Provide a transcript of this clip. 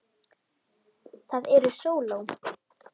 Það eru sóló.